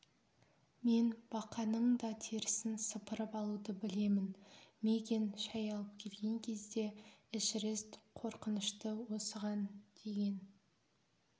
мен бақаның да терісін сыпырып алуды білемін мигэн шәй алып келген кезде эшерест қорқынышты осыған деген